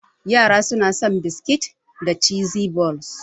Yara suna son biskit da cheese balls.